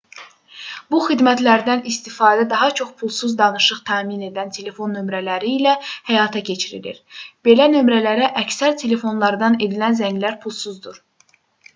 bu xidmətlərdən istifadə daha çox pulsuz danışıq təmin edən telefon nömrələri ilə həyata keçirilir belə nömrələrə əksər telefonlardan edilən zənglər pulsuzdur